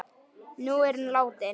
Nú er hún látin.